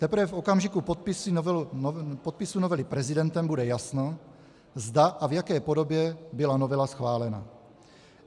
Teprve v okamžiku podpisu novely prezidentem bude jasno, zda a v jaké podobě byla novela schválena.